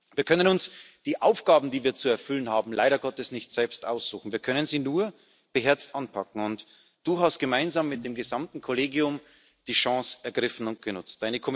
Wir können uns die Aufgaben, die wir zu erfüllen haben, leider Gottes nicht selbst aussuchen, wir können sie nur beherzt anpacken. Und Du hast gemeinsam mit dem gesamten Kollegium die Chance ergriffen und genutzt.